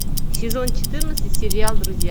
сезон четырнадцать сериал друзья